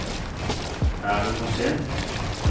Er det for sent?